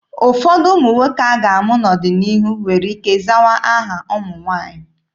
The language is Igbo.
Ụfọdụ ụmụ nwoke a ga-amụ n'ọdịnihu nwere ike zawa aha ụmụ nwaanyị.